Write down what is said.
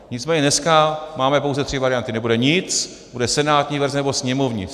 Nicméně dneska máme pouze tři varianty: nebude nic, bude senátní verze, nebo sněmovní.